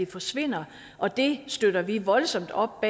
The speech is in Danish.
forsvinde og det støtter vi voldsomt op